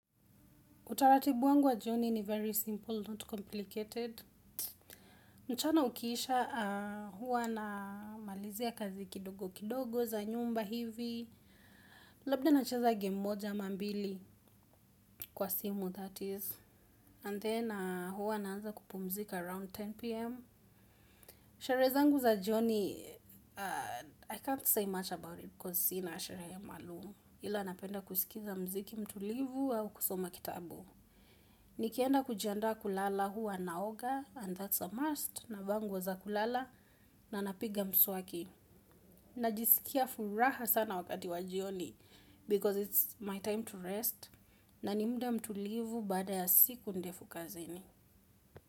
Utaratibu wangu wa jioni ni very simple, not complicated. Mchana ukiisha huwa na malizia kazi kidogo kidogo za nyumba hivi. Labda nacheza gem moja ama mbili kwa simu that is. And then huwa naanza kupumzika around 10pm. Sherehe zangu za joni, I can't say much about it because si na sherehe maalum. Ila napenda kusikiza mziki mtulivu au kusoma kitabu. Ni kienda kujianda kulala huwa naoga and that's a must navaa nguo za kulala na napiga mswaki. Najisikia furaha sana wakati wajioni because it's my time to rest na nimuda mtulivu baada ya siku ndefu kazini.